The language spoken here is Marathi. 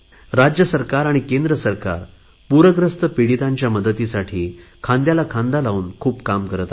राज्य सरकार आणि केंद्र सरकार पुरग्रस्त पिडीतांच्या मदतीसाठी खांद्याला खांदा लावून खूप काम करत आहेत